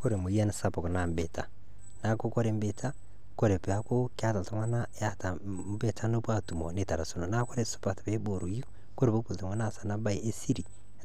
Kore emoyian sapuk naa ebiita, neeku kore ebiita, kore peeku keeta iltung'anak keeta peepuo aatumo neitarasakino naa ore sipat peiboorou kore peepuo iltung'anak aas ena baye esiri